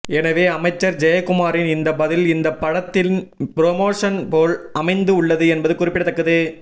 எனவே அமைச்சர் ஜெயக்குமாரின் இந்த பதில் இந்த படத்தின் புரமோஷன் போல் அமைந்து உள்ளது என்பது குறிப்பிடத்தக்கது